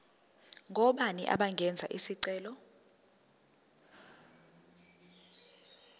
ngobani abangenza isicelo